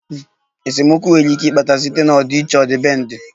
Esemokwu nwere ike ịkpata site na ọdịiche ọdịbendị